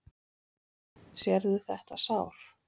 Sérðu þetta sár?